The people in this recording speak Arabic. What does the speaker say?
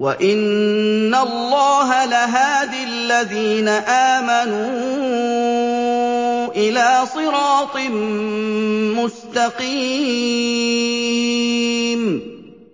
وَإِنَّ اللَّهَ لَهَادِ الَّذِينَ آمَنُوا إِلَىٰ صِرَاطٍ مُّسْتَقِيمٍ